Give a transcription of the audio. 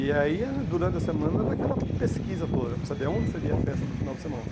E aí, durante a semana, era aquela pesquisa toda, para saber onde seria a festa do final de semana.